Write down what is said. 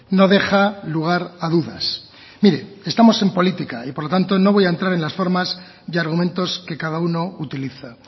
no deja lugar a dudas mire estamos en política y por lo tanto no voy a entrar en las formas y argumentos que cada uno utiliza